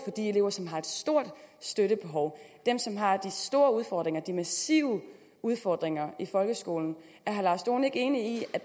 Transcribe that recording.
de elever som har et stort støttebehov dem som har de store udfordringer de massive udfordringer i folkeskolen er herre lars dohn ikke enig i at